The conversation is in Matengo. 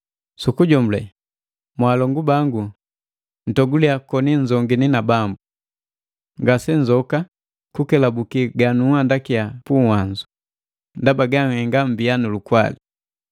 Sukujomule, mwalongu bangu ntoguliya koni nnzongini na Bambu. Ngasenzoka kukelabuki ganunhandaki puwanzu, ndaba ganhenga mmbia nulukwali.